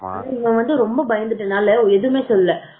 இவங்க வந்து ரொம்ப பயந்துட்டதால எதுவுமே சொல்லல